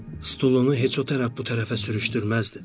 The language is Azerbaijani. Stulunu heç o tərəf, bu tərəfə sürüşdürməzdi də.